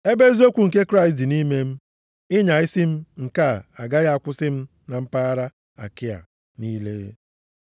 Ebe eziokwu nke Kraịst dị nʼime m, ịnya isi m nke a agaghị akwụsị na mpaghara Akaịa + 11:10 Akaịa bụkwa Griis. niile.